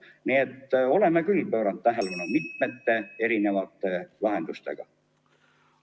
Nii et oleme küll pööranud tähelepanu mitmesuguste lahenduste pakkumisega.